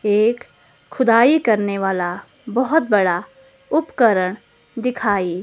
एक खुदाई करने वाला बहोत बड़ा उपकरण दिखाई--